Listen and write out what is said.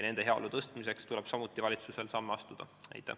Nende heaolu parandamiseks tuleb valitsusel samuti samme astuda.